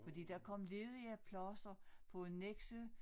Fordi der kom ledige pladser på Nexø